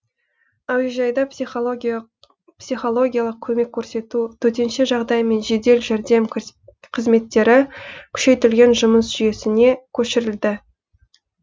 әуежайда психологиялық көмек көрсету төтенше жағдай мен жедел жәрдем қызметтері күшейтілген жұмыс жүйесіне көшірілді